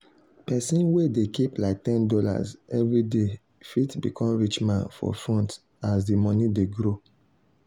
person wey dey keep like ten dollars every dey fit become rich man for front as the money dey grow.